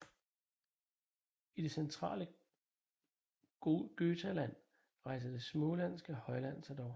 I det centrale Götaland rejser det smålandske højland sig dog